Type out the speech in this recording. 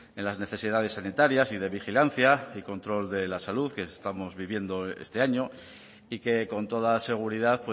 en las necesidades sanitarias y de vigilancia y control de la salud que estamos viviendo este año y que con toda seguridad